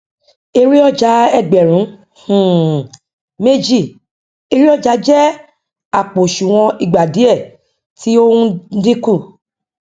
èrè ọjà ẹgbẹrun um méjì ere ọjà jẹ àpò òsùnwọn ìgba diẹ tí o n dínkù